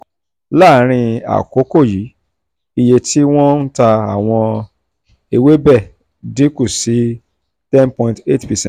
láàárín àkókò yìí iye tí wọ́n ń ta àwọn ewébẹ̀ dín kù sí ten point eight percent.